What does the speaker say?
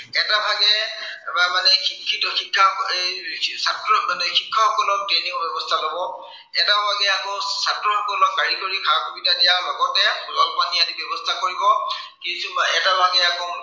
এটা ভাগে মানে শিক্ষিত শিক্ষা এৰ ছাত্ৰ, মানে শিক্ষকসকলৰ training ৰ ব্য়ৱস্থা লব। এটা ভাগে আকৌ ছাত্ৰসকলক কাৰিকৰী সা- সুবিধা দিয়াৰ লগতে জলপানী আদিৰ ব্য়ৱস্থা কৰিব। কিন্তু এটা ভােগ আকৌ